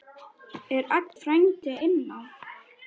Er Aggi frændi inná?